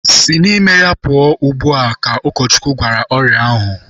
Si n'ime ya pụọ ugbu a! Ka Ụkọchukwu gwara ọrịa ahụ.